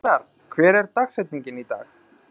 Grétar, hver er dagsetningin í dag?